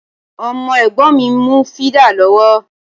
Ọmọ Ẹ̀gbọ́n mi ń mu fídà lọ́wọ́